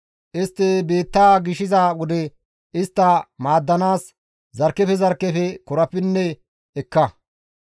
Istti biittaa gishiza wode istta maaddanaas zarkkefe zarkkefe korapinne ekka.